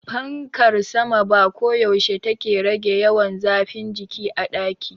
Fankar sama ba koyaushe take rage yawan zafin jiki a daki.